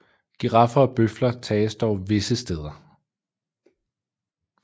Giraffer og bøfler tages dog visse steder